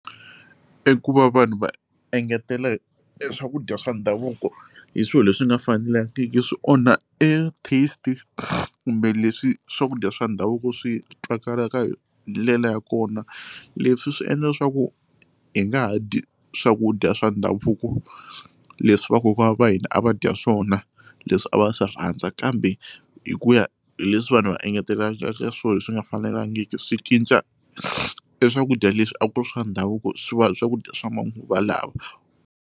I ku va vanhu va engetela eswakudya swa ndhavuko hi swilo leswi nga fanelangiki swi onha e test kumbe leswi swakudya swa ndhavuko swi twakalaka hi ndlela ya kona leswi swi endla leswaku hi nga ha dyi swakudya swa ndhavuko leswi va kokwani va hina a va dya swona leswi a va swi rhandza kambe hi ku ya hi leswi vanhu va engetelaka leswi nga fanelangiki swi cinca eswakudya leswi a ku ri swa ndhavuko swi va swakudya swa manguva lawa.